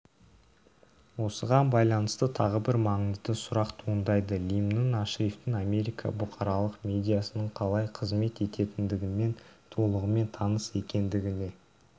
осыған байланысты тағы бір маңызды сұрақ туындайды лимн ашрифтің америка бұқаралық медиасының қалай қызмет ететіндігімен толығымен таныс екендігіне